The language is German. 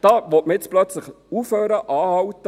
Da will man nun plötzlich aufhören, anhalten.